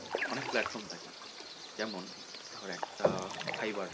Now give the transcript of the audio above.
অনেক platform থাকে যেমন ধর একটা fiver